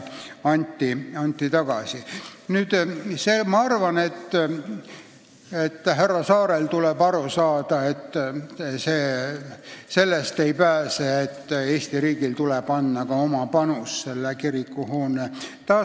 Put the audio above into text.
Ma arvan, et minister Saarel tuleb aru saada, et Eesti riigil tuleb anda oma panus selle kirikuhoone taastamisse.